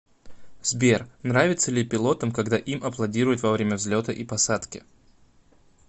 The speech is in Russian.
сбер нравится ли пилотом когда им аплодируют во время взлета и посадки